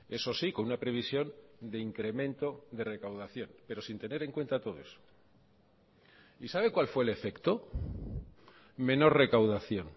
eso sí con una previsión de incremento de recaudación pero sin tener en cuenta todo eso y sabe cuál fue el efecto menor recaudación